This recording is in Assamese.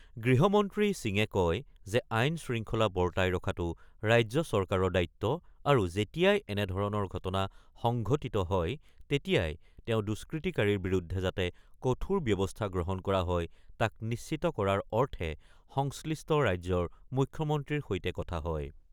গৃহ মন্ত্ৰী সিঙে কয় যে, আইন-শৃংখলা বৰ্তাই ৰখাটো ৰাজ্য চৰকাৰৰ দায়িত্ব আৰু যেতিয়াই এনেধৰণৰ ঘটনা সংঘটিত হয় তেতিয়াই তেওঁ দুষ্কৃতিকাৰীৰ বিৰুদ্ধে যাতে কঠোৰ ব্যৱস্থা গ্ৰহণ কৰা হয় তাক নিশ্চিত কৰাৰ অৰ্থে সংশ্লিষ্ট ৰাজ্যৰ মুখ্যমন্ত্ৰীৰ সৈতে কথা হয়।